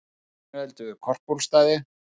Sinueldur við Korpúlfsstaði